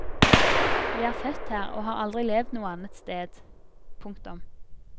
Vi er født her og har aldri levd noe annet sted. punktum